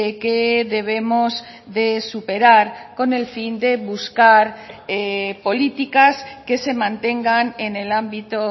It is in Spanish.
que debemos de superar con el fin de buscar políticas que se mantengan en el ámbito